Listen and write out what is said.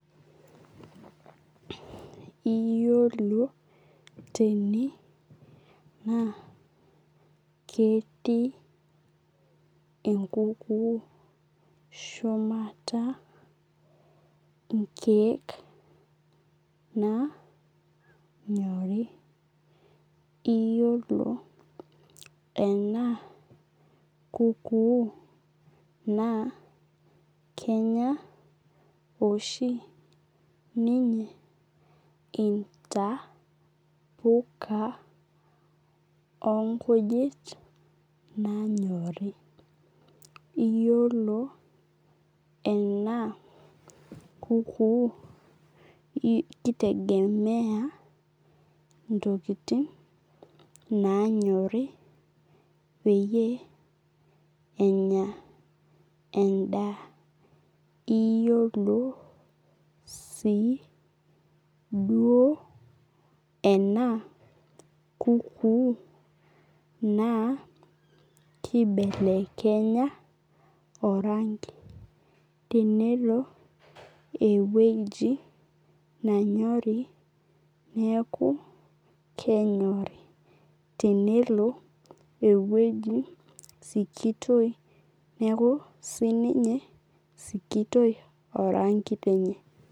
Iyiolo tene naa ketii enkuku shumata inkeek naanyorii iyilo enaa kukuu naa kenya oshi ninye intapuka oo nkujit nanyori. Iyiolo ena kuku ki tegema ntokitin nanyori peyie enya edaa. Iyiolo sii duo enaa kukuu naa kibelekenya oranki tenelo eweji nanyorii neeku kenyori. Tenelo eweji sikitoi neeku sii ninye sikitoi oranki lenye.